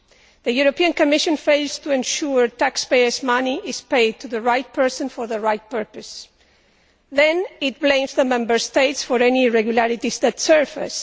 The European Commission fails to ensure taxpayers' money is paid to the right person for the right purpose. Then it blames the Member States for any irregularities that surface.